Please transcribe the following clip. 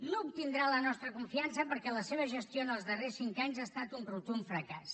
no obtindrà la nostra confiança perquè la seva gestió en els darrers cinc anys ha estat un rotund fracàs